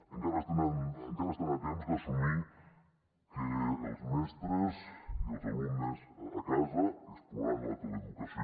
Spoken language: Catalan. encara estan a temps d’assumir que els mestres i els alumnes a casa explorant la teleeducació